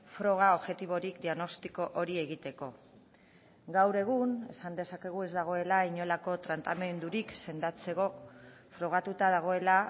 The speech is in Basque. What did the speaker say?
froga objektiborik diagnostiko hori egiteko gaur egun esan dezakegu ez dagoela inolako tratamendurik sendatzeko frogatuta dagoela